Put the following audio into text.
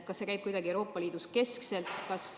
Kas see käib kuidagi Euroopa Liidus keskselt?